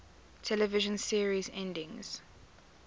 television series endings